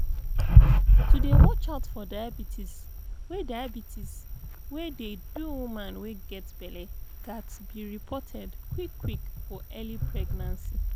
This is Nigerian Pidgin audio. to dey watch out for diabetes wey diabetes wey dey do woman wey get belle ghats be reported quick quick for early pregnancy